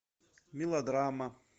мелодрама